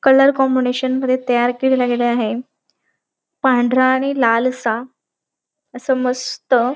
colour combination मध्ये तयार केलेल गेल आहे पांढरा आणि लाल असा अस मस्त --